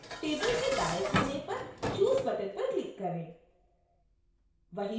फिर table के दाएँ कोने पर choose button पर click करें